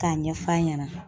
K'a ɲɛfɔ a ɲɛna